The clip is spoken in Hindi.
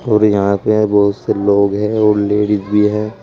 और यहां पे हैं बहुत से लोग हैं और लेडिस भी है।